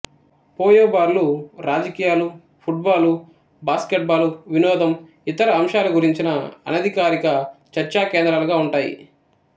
పోయో బార్లు రాజకీయాలు football basketball వినోదం ఇతర అంశాల గురించిన అనధికారిక చర్చా కేంద్రాలుగా ఉంటాయి